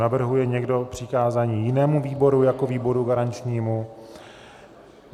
Navrhuje někdo přikázání jinému výboru jako výboru garančnímu?